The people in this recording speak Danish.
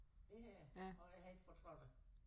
Det har jeg og jeg har ikke fortrudt det